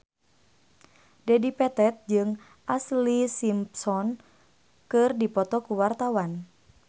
Dedi Petet jeung Ashlee Simpson keur dipoto ku wartawan